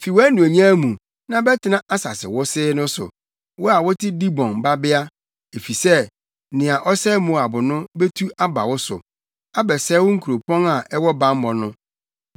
“Fi wʼanuonyam mu, na bɛtena asase wosee no so, wo a wote Dibon Babea, efisɛ nea ɔsɛe Moab no betu aba wo so abɛsɛe wo nkuropɔn a ɛwɔ bammɔ no.